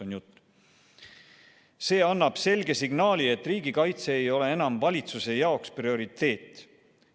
"See annab selge signaali, et riigikaitse ei ole enam valitsuse jaoks prioriteet.